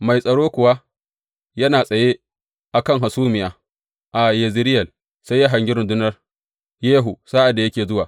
Mai tsaro kuwa yana tsaye a kan hasumiya a Yezireyel, sai ya hangi rundunar Yehu sa’ad da yake zuwa.